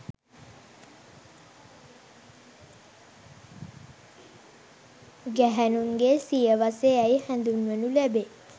ගැහැණුන්ගේ සිය වස යැයි හඳුන්වනු ලැබේ